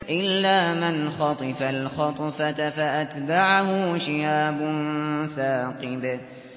إِلَّا مَنْ خَطِفَ الْخَطْفَةَ فَأَتْبَعَهُ شِهَابٌ ثَاقِبٌ